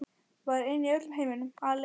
Ég var ein í öllum heiminum, alein.